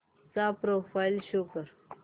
चा profile show कर